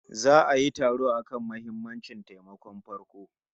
Za'a yi taro akan muhimammancin taimakon farko